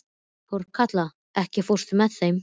Þorkatla, ekki fórstu með þeim?